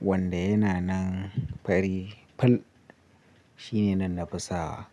wanda yana nan fari. Ful shine nan na fi sawa.